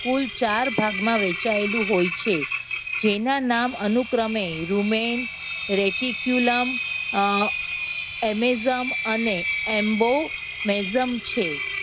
કુલ ચાર ભાગમાં વહેંચાયેલું હોય છે. જેના ચાર નામ અનુક્રમે રૂમેન, રેટિક્યુલમ અમ એમેજમ અને એમ્બો મેજમ છે.